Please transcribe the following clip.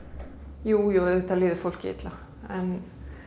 jú jú auðvitað líður fólki illa en